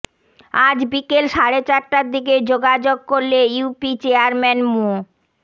আজ বিকেল সাড়ে চারটার দিকে যোগাযোগ করলে ইউপি চেয়ারম্যান মো